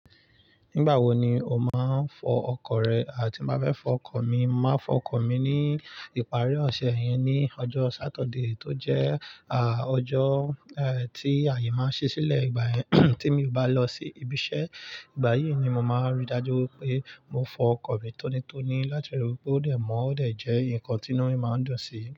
Nígbà wo ni o máa ń fọ ọkọ̀ rẹ? À ti bá fẹ́ fọ ọkọ̀ mi, màá fọ ọkọ̀ mi ní ìparí ọ̀sẹ̀ yẹn ní ọjọ́ Satọde tó jẹ́ àà, ọjọ́ ẹ́ tí ààyè máa ṣí sílẹ̀ ìgbà yẹn. Tí mi ò bá lọ sí ibi iṣẹ́, ìgbà yìí ni mo máa rí dájú pé mo fọ ọkọ̀ mi tónítóní láti rí pé ó dẹ̀ mọ́, ó dẹ̀ jẹ́ nkan tínú mi máa dùn si.